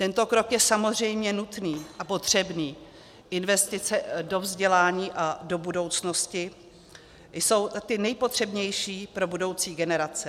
Tento krok je samozřejmě nutný a potřebný, investice do vzdělání a do budoucnosti jsou ty nejpotřebnější pro budoucí generace.